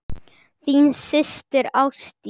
Þín systir Ásdís.